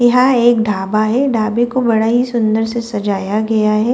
यहां एक ढाबा है ढाबे को बड़ा ही सुंदर से सजाया गया है।